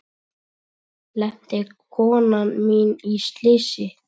Lenti konan mín í slysi?